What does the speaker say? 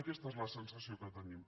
aquesta és al sensació que tenim